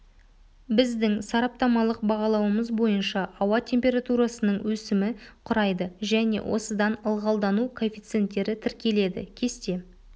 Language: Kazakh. біздің сараптамалық бағалауымыз бойынша ауа температурасының өсімі құрайды және осыдан ылғалдану коэффициенттері тіркеледі кесте